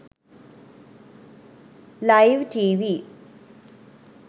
live tv